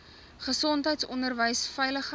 gesondheid onderwys veiligheid